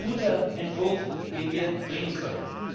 Dies ist ein guter Entwurf, den wir einbringen können.